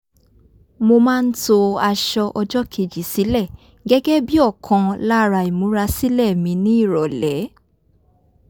mo máa ń to aṣọ ọjọ́kejì sílẹ̀ gẹ́gẹ́ bí òkan lára ìmúra sílẹ̀ mi ní ìrọ̀lẹ́